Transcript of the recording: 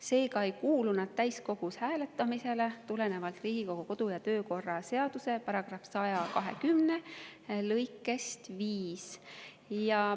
Seega ei kuulu need täiskogus hääletamisele tulenevalt Riigikogu kodu‑ ja töökorra seaduse § 120 lõikest 5.